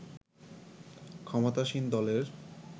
ক্ষমতাসীন দলের